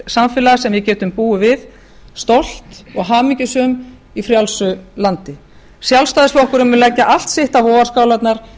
samfélag sem við getum búið við stolt og hamingjusöm í frjálsu landi sjálfstæðisflokkurinn mun leggja allt sitt á vogarskálarnar